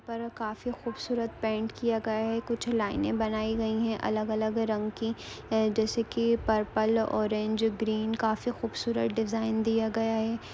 पर काफी खूबसूरत पैंट किया गया है कुछ लाइने बनाई गई हैं अलग-अलग रंग की है जैसे की पर्पल ऑरेंज ग्रीन काफी खूबसूरत डिजाइन दिया गया है।